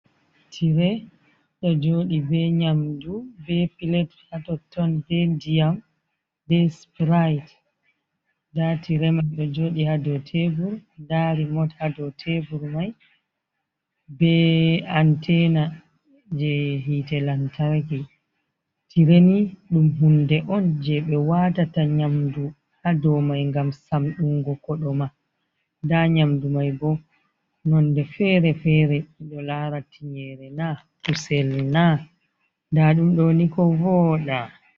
Tire do joɗi be nyamdu be pilet hatoton be diyam be sipryt da tire man ɗo joɗi hado tebur dari mota hado tebur mai be antena je hite lantaki tireni dum hunde on je be watata nyamdu hado mai gam samdungo ko do ma da nyamdu mai bo nonde fere-fere ido lara tinyere na usel na da ɗum doniko voda.